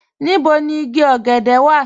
Níbò ni ìgí ògẹ̀dẹ̀ wà?